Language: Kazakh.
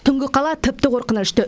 түнгі қала тіпті қорқынышты